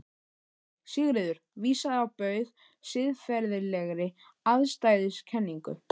Nei, Sigurður vísaði á bug siðferðilegri afstæðiskenningu.